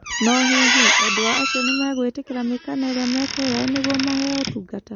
No hihi endwa acio nĩ megwĩtĩkĩra mĩkana ĩria mekũheo nĩguo maheo ũtungata.